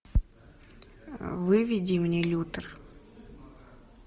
выведи мне лютер